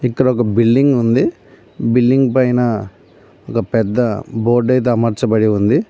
ఇక్కడొక బిల్డింగ్ ఉంది బిల్లింగ్ పైన ఒక పెద్ద బోర్డైతే అమర్చబడి ఉంది.